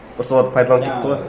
просто оларды пайдаланып кетті ғой